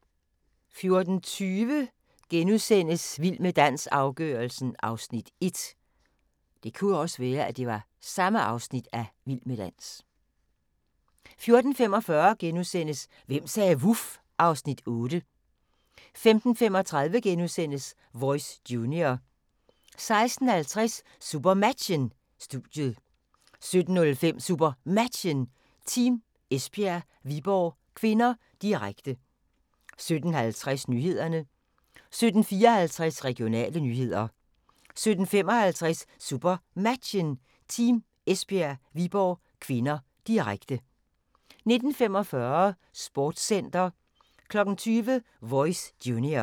14:20: Vild med dans – afgørelsen (Afs. 1)* 14:45: Hvem sagde vuf? (Afs. 8)* 15:35: Voice Junior * 16:50: SuperMatchen: Studiet 17:05: SuperMatchen: Team Esbjerg – Viborg (k), direkte 17:50: Nyhederne 17:54: Regionale nyheder 17:55: SuperMatchen: Team Esbjerg – Viborg (k), direkte 19:45: Sportscenter 20:00: Voice Junior